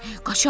Qaçaq.